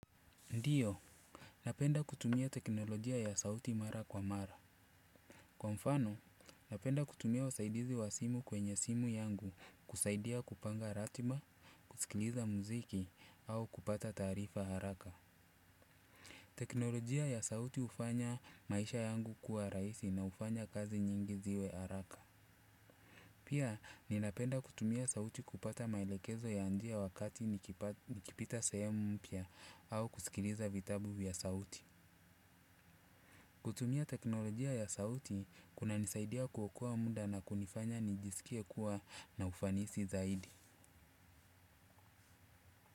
Ndiyo, napenda kutumia teknolojia ya sauti mara kwa mara. Kwa mfano, napenda kutumia usaidizi wa simu kwenye simu yangu, kusaidia kupanga ratiba, kusikiliza muziki, au kupata taarifa haraka. Teknolojia ya sauti hufanya maisha yangu kuwa rahisi na hufanya kazi nyingi ziwe haraka. Pia, ninapenda kutumia sauti kupata maelekezo ya njia wakati nikipita sehemu mpya, au kusikiliza vitabu ya sauti. Kutumia teknolojia ya sauti kunanisaidia kuokoa muda na kunifanya nijisikie kuwa na ufanisi zaidi.